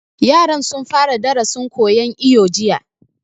Yaran sun fara darasin koyan iwo jiya